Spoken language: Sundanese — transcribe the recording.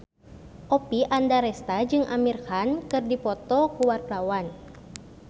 Oppie Andaresta jeung Amir Khan keur dipoto ku wartawan